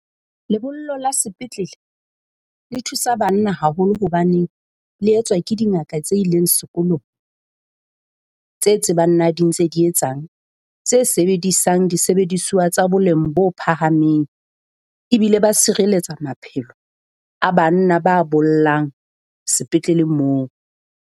Lebollo la sepetlele le thusa banna haholo hobaneng. Le etswa ke dingaka tse ileng sekolong? Tse tsebang na di ntse di etsang, tse sebedisang disebedisuwa tsa boleng bo phahameng e bile ba sireletsa maphelo a banna ba bollang sepetlele moo.